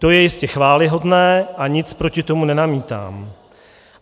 To je jistě chvályhodné a nic proti tomu nenamítám.